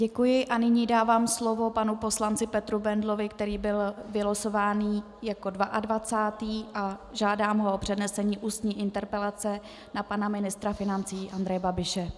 Děkuji a nyní dávám slovo panu poslanci Petru Bendlovi, který byl vylosován jako 22., a žádám ho o přednesení ústní interpelace na pana ministra financí Andreje Babiše.